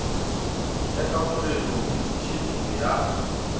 ya kamogelong le tiišetšong ya